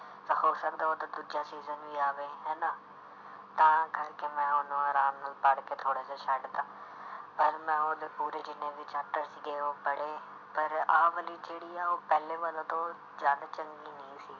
ਹੋ ਸਕਦਾ ਉਹਦਾ ਦੂਜਾ season ਵੀ ਆਵੇ ਹਨਾ ਤਾਂ ਕਰਕੇ ਮੈਂ ਉਹਨੂੰ ਆਰਾਮ ਨਾਲ ਪੜ੍ਹ ਕੇ ਥੋੜ੍ਹਾ ਜਿਹਾ ਛੱਡ ਦਿੱਤਾ ਪਰ ਮੈਂ ਉਹਦੇ ਪੂਰੇ ਜਿੰਨੇ ਵੀ chapter ਸੀਗੇ ਉਹ ਪੜ੍ਹੇ ਪਰ ਆਹ ਵਾਲੀ ਜਿਹੜੀ ਆ ਉਹ ਪਹਿਲੇ ਵਾਲੇ ਤੋਂ ਜ਼ਿਆਦਾ ਚੰਗੀ ਨਹੀਂ ਸੀ।